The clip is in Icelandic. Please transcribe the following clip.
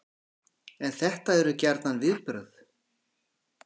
En þetta eru gjarnan viðbrögð